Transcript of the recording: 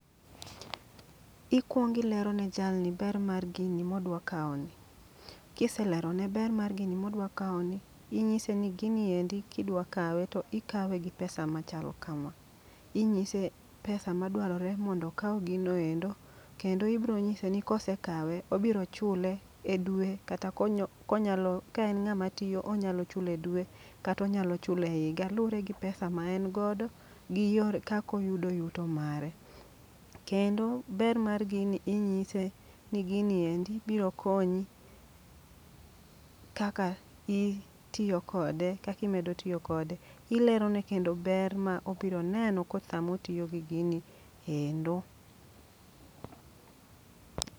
Ikwongi lero ne jalni ber mar gini modwa kawo ni. Kiselerone ber mar gini modwa kawo ni, inyise ni gini endi kidwa kawe to ikawe gi pesa machal kama. Inyise pesa ma dwarore mondo okaw gino endo. Kendo ibro nyise ni kosekawe obiro chule e dwe kata konyo konyalo kaen ng'ama tiyo onyalo chule dwe kata onyalo chule higa. Luwore gi pesa ma en godo gi yore kakoyudo yuto mare. Kendo ber mar gini inyise ni gini endi biro konyi kaka itiyo kode, kakimedo tiyo kode. Ilerone kendo ber ma obiro neno ko samotiyo gi gini endo.